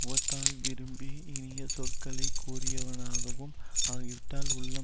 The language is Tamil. முகத்தால் விரும்பி இனிய சொற்களை கூறியவனாகவும் ஆகிவிட்டால் உள்ளம்